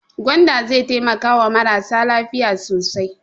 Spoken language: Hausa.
Gwanda zai taimakawa marasa lafiya sosai.